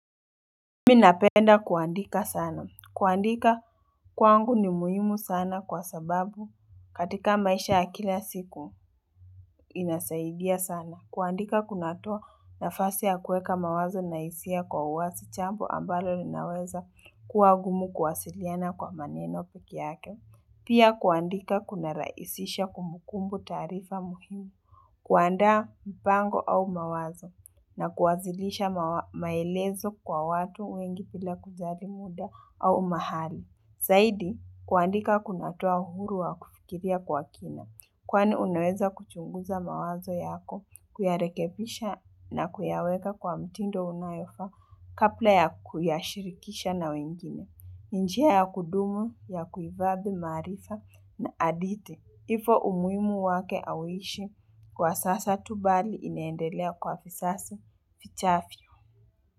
Mi napenda kuandika sana. Kuandika kwangu ni muhimu sana kwa sababu katika maisha ya kila siku inasaidia sana. Kuandika kunatoa nafasi ya kweka mawazo na isia kwa uwasi chambo ambalo linaweza kuwa gumu kuwasiliana kwa maneno puki yake. Pia kuandika kunaraisisha kumukumbu tarifa muhimu. Kuandaa mpango au mawazo na kuwazilisha maelezo kwa watu wengi pila kujali muda au mahali. Saidi, kuandika kunatoa uhuru wa kufikiria kwa kina. Kwani unaweza kuchunguza mawazo yako, kuyarekebisha na kuyaweka kwa mtindo unayofaa, kapla ya kuyashirikisha na wengine. Njia ya kudumu, ya kuivadhi, maarifa na aditi. Ifo umuimu wake awishi kwa sasa tu bali iniendelea kwa fisasi pichafi.